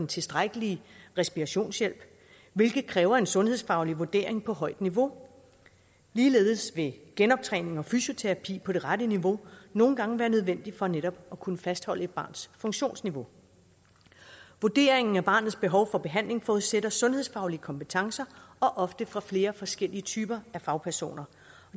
tilstrækkelige respirationshjælp hvilket kræver en sundhedsfaglig vurdering på højt niveau ligeledes vil genoptræning og fysioterapi på det rette niveau nogle gange være nødvendig for netop at kunne fastholde et barns funktionsniveau vurderingen af barnets behov for behandling forudsætter sundhedsfaglige kompetencer og ofte fra flere forskellige typer af fagpersoner